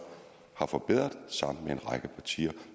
har forbedret sammen med en række partier